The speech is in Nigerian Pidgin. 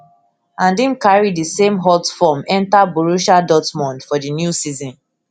and im carry di same hot form enta borussia dortmund for di new season